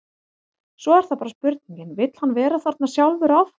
Svo er það bara spurningin, vill hann vera þarna sjálfur áfram?